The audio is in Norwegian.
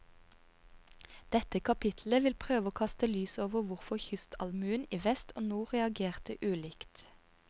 Dette kapittelet vil prøve å kaste lys over hvorfor kystallmuen i vest og nord reagerte ulikt.